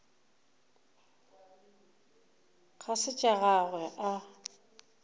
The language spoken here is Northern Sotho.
ga se tša gagwe a